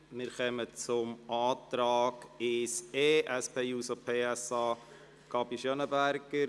Wir kommen zur Abstimmung über den Antrag 1e, SP-JUSO-PSA, Gabi Schönenberger.